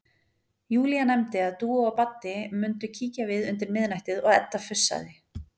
Júlía nefndi að Dúa og Baddi mundu kíkja við undir miðnættið og Edda fussaði.